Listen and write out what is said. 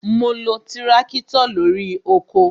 Ma lo tirakitọ lórí oko